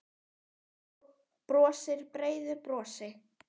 Hann brosir breiðu brosi.